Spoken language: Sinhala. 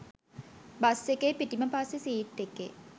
බස් එකේ පිටිම පස්සෙ සීට් එකේ